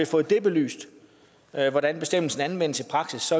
fået belyst hvordan bestemmelsen anvendes i praksis